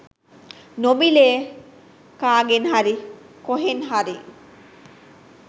නොමිලේ කගෙන් හරි කොහෙන් හරි